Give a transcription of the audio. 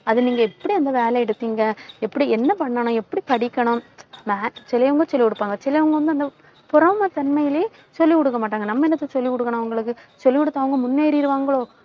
அதை நீங்க எப்படி அந்த வேலை எடுப்பீங்க? எப்படி, என்ன பண்ணணும்? எப்படி படிக்கணும்? max ~ சிலவங்க சொல்லிக் கொடுப்பாங்க. சிலவங்க வந்து அந்த பொறாமை தன்மையிலேயே சொல்லிக் கொடுக்க மாட்டாங்க. நம்ம என்னத்துக்கு சொல்லிக் கொடுக்கணும் அவங்களுக்கு? சொல்லிக் கொடுத்து, அவங்க முன்னேறிருவாங்களோ?